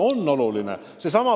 On oluline!